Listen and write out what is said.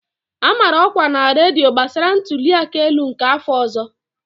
A mara ọkwa na redio gbasara ntuli aka elu nke afọ ọzọ.